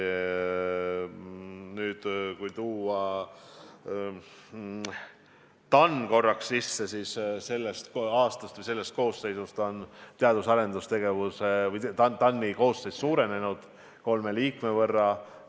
Nüüd, kui tuua TAN korraks sisse, siis sellest aastast on TAN-i koosseis suurenenud kolme liikme võrra.